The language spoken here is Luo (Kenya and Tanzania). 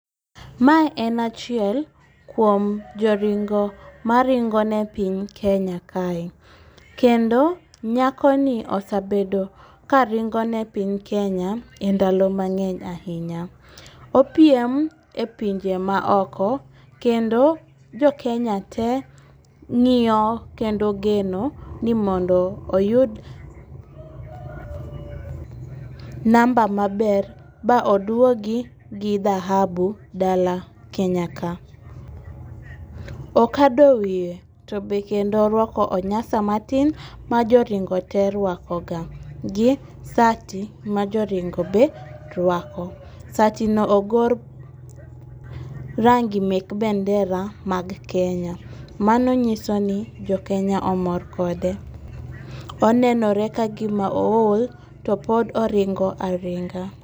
Mae en achiel kuom joringo maringo ne piny Kenya kae, kendo nyakoni osabedo ka ringo ne piny Kenya e ndalo mang'eny ahinya. Opiem e pinje maoko, kendo jokenya te ng'iyo kendo ogeno ni mondo oyud namba maber ba oduogi gi dhahabu dala Kenya ka. Okado wiye to be kendo orwako onyasa matin ma joringo te rwakoga, gi sati ma joringo be rwako. Satino ogor rangi mek bendera mag Kenya, mano nyiso ni jo Kenya omor kode. Onenore ka gima ool to pod oringo aringa.